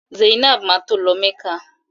Zainab ma tó lọ mecca.